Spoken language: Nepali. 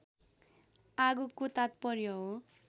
आगोको तात्पर्य हो